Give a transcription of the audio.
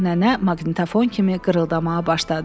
Nənə maqnitofon kimi qırıldamağa başladı.